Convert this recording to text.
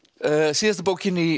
síðasta bókin í